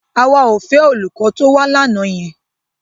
Àwa ò fẹ́ olùkọ́ tó wá lánàá yẹn.